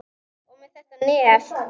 Og með þetta nef.